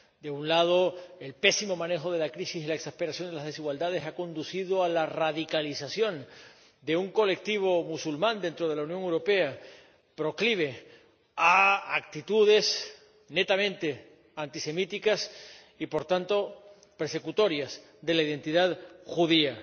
De un lado, el pésimo manejo de la crisis y la exasperación de las desigualdades han conducido a la radicalización de un colectivo musulmán dentro de la Unión Europea proclive a actitudes netamente antisemitas y por tanto persecutorias de la identidad judía.